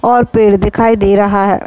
और पेड़ दिखाई दे रहा है।